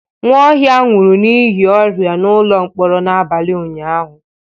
Nwaohia nwụrụ n'ihi ọrịa n'ụlọ mkpọrọ n'abalị ụnyahụ.